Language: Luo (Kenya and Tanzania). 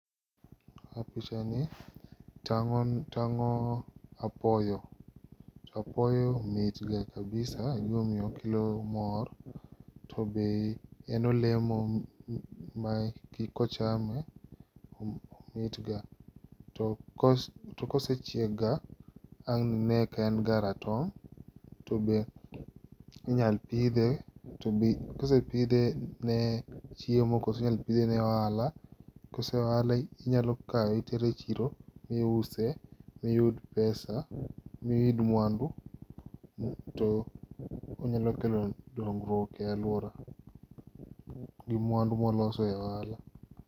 E pichani tang'o tang'o apoyo, to apoyo mitga kabisa egima omiyo okelo mor. To be en olemo makochame tomitga to kosechiek ga wang ine ka en ga ratong. to be Inyal pidhe, tobe kosepidhe ne chiemo koso inyal pidhe ne ohala koso ohala inyalo kawe itere chiro miuse miyud pesa, miyud mwandu to onyalo kelo dongruok e aluora, gi mwandu ma waloso e ohala.